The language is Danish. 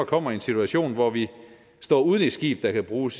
kommer i en situation hvor vi står uden et skib der kan bruges